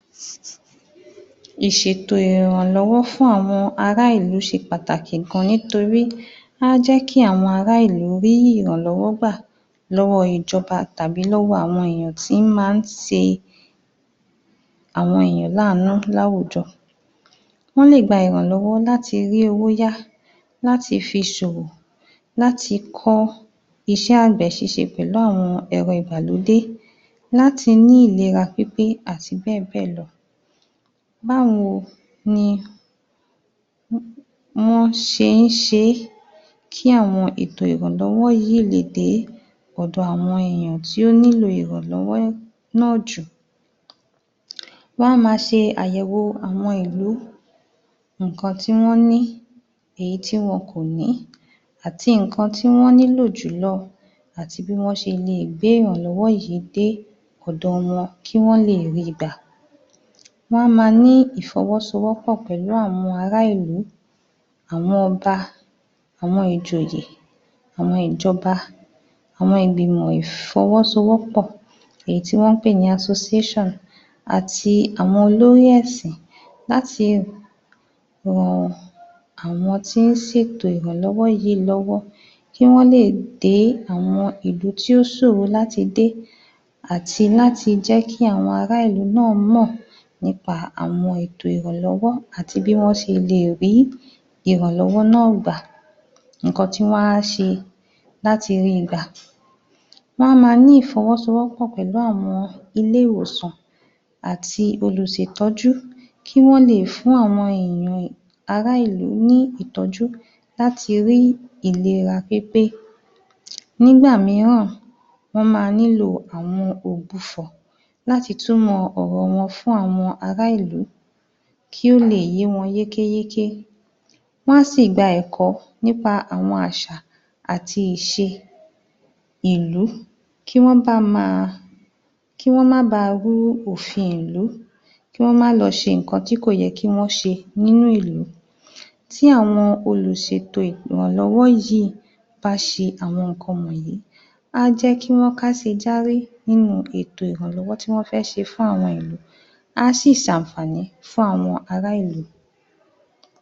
Ìṣètò ìrànlọ́wọ́ fún àwọn ará ìlú ṣe pàtàkì gan nítorí á jẹ́ kí àwọn ará ìlú rí ìrànlọ́wọ́ gbà lọ́wọ́ ìjọba tàbí lọ́wọ́ àwọn èèyàn tí ń máa ń ṣe àwọn èèyàn láàánú láwùjọ. Wọ́n lè gba ìrànlọ́wọ́ láti rí owó yá láti fi ṣòwò, láti kọ́ iṣẹ́ àgbẹ̀ ṣíṣe pẹ̀lú àwọn ẹ̀rọ ìgbàlódé láti ní ìlera pípé àti bẹ́ẹ̀ bẹ́ẹ̀ lọ. Báwo ni wọ́n ṣe ń ṣe é kí àwọn ètò ìrànlọ́wọ́ yìí lè dé ọ̀dọ̀ àwọn èèyàn tí ó nílò ìrànlọ́wọ́ náà jù. Wọ́n á máa ṣe àwọn àyẹ̀wò àwọn ìlú nǹkan tí wọ́n ní, èyí tí wọn kò ní ati nǹkan tí wọ́n nílò jùlọ àti bí wọ́n ṣe leè gbé ìrànlọ́wọ́ yìí dé ọ̀dọ̀ wọn kí wọ́n leè rí i gbà. Wọ́n á máa ní ìfọwọ́sowọ́pọ̀ pẹ̀lú àwọn ará ìlú, àwọn ọba, àwọn ìjòyè, àwọn ìjọba, àwọn ìgbìmọ̀ ìfọwọ́sowọ́pọ̀ èyí tí wọ́n ń pè ní asoséṣàn àti àwọn olórí ẹ̀sìn láti ran àwọn tí ó ṣe ètò ìrànlọ́wọ́ yìí lọ́wọ́ kí wọ́n lè dé àwọn ìlú tí ó ṣòro láti dé àti láti jẹ́ kí àwọn ará ìlú náà mọ̀ nípa àwọn ètò ìrànlọ́wọ́ àti bí wọ́n ṣe leè rí ìrànlọ́wọ́ náà gbà. Nǹkan tí wọ́n á ṣe láti ríi gbà, wọ́n á máa ní ìfọwọ́sowọ́pọ̀ pẹ̀lú àwọn ilé-ìwòsàn àti olùṣètọ́jú kí wọ́n leè fún àwọn èèyàn um ará ìlú ní ìtọ́jú láti rí ìlera pípé nígbà mìíràn ará ìlú ní ìtọ́jú láti rí ìlera pípé nígbà mìíràn wọ́n máa nílò àwọn ògbufọ̀ láti túmọ̀ ọ̀rọ̀ wọn fún àwọn ará ìlú kí ó leè yé wọn yékéyéké, wọ́n a á sì gba ẹ̀kọ́ nípa àwọn àṣà àti ìṣe ìlú kí wọ́n bá máa, kí wón má baà rú òfin ìlú kí wọ́n má lọ ṣe nǹkan tí kò yẹ kí wọ́n ṣe nínú ìlú tí àwọn olùṣètò ìrànlọ́wọ́ yìí bá ṣe àwọn nǹkan wọ̀nyí, á jẹ́ kí wọ́n káṣinjáré nínú ètò ìrànlọ́wọ́ tí wọ́n fẹ́ ṣe fún àwọn ìlú. Á sì ṣàǹfàní fún àwọn ará ìlú.